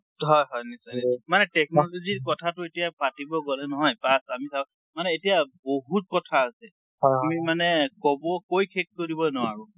হয়, হয়। নিশ্চয়, নিশ্চয়। মানে technology ৰ কথাটো এতিয়া পাতিব গলে নহয়, তাত আমি তাত, মানে এতিয়া বহুত কথা আছে। আমি মানে কব কৈ শেষ কৰিব নোৱাৰো।